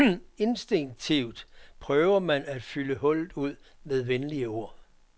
Instinktivt prøver man at fylde hullet ud med venlige ord.